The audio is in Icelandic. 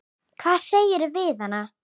Hvað sagðirðu við hana?